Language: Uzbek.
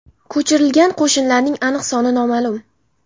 Ko‘chirilgan qo‘shinlarning aniq soni noma’lum.